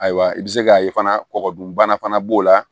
Ayiwa i bɛ se k'a ye fana kɔgɔdunbana fana b'o la